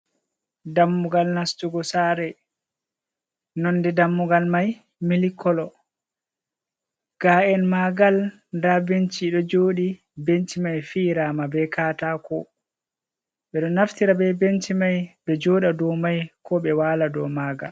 Dammugal nastugo sare: Nonde dammugal mai milk kolo. Ga’en maa'ngal da benci do joɗi. Benci mai fiyirama be katako. Ɓedo naftira be benci mai be joɗa dou mai, ko ɓe waala do maa'ngal.